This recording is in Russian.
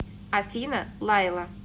афина лайла